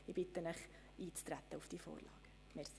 Ich bitte Sie, auf die Vorlage einzutreten.